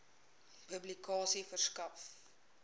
publikasie verskaf